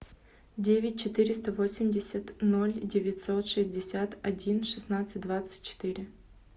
девять четыреста восемьдесят ноль девятьсот шестьдесят один шестнадцать двадцать четыре